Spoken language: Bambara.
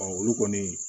olu kɔni